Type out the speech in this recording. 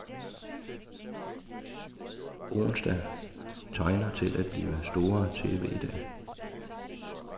Onsdag tegner til at blive store TVdag.